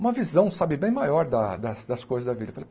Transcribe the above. Uma visão, sabe, bem maior da da das coisas da vida.